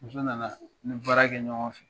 Muso nana , an bi baara kɛ ɲɔgɔn fɛ.